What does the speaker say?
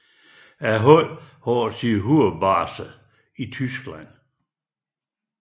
Holdet har sin hovedbase i Tyskland